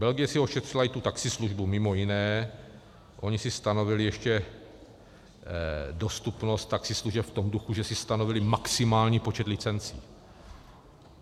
Belgie si ošetřila i tu taxislužbu mimo jiné, oni si stanovili ještě dostupnost taxislužeb v tom duchu, že si stanovili maximální počet licencí.